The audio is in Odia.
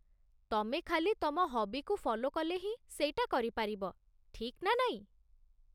ତମେ ଖାଲି ତମ ହବିକୁ ଫଲୋ କଲେ ହିଁ ସେଇଟା କରିପାରିବ, ଠିକ୍ ନା ନାଇଁ?